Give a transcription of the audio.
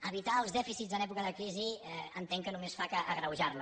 evitar els dèficits en època de crisi entenc que només fa que agreujar la